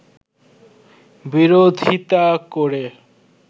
বিরোধীতা করে